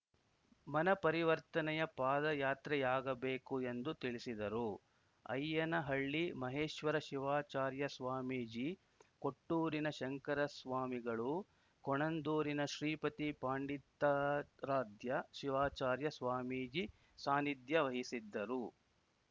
ಮನಪರಿವರ್ತನೆಯ ಪಾದಯಾತ್ರೆಯಾಗಬೇಕು ಎಂದು ತಿಳಿಸಿದರು ಅಯ್ಯನಹಳ್ಳಿ ಮಹೇಶ್ವರ ಶಿವಾಚಾರ್ಯ ಸ್ವಾಮೀಜಿ ಕೊಟ್ಟೂರಿನ ಶಂಕರ ಸ್ವಾಮಿಗಳು ಕೊಣಂದೂರಿನ ಶ್ರೀಪತಿ ಪಂಡಿತಾರಾಧ್ಯ ಶಿವಾಚಾರ್ಯ ಸ್ವಾಮೀಜಿ ಸಾನ್ನಿಧ್ಯ ವಹಿಸಿದ್ದರು